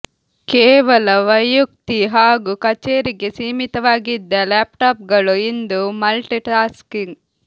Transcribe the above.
ಕೇವಲ ವೈಯುಕ್ತಿ ಹಾಗೂ ಕಚೇರಿಗೆ ಸೀಮಿತವಾಗಿದ್ದ ಲ್ಯಾಪ್ಟಾಪ್ಗಲು ಇಂದು ಮಲ್ಟಿ ಟಾಸ್ಕಿಂಗ್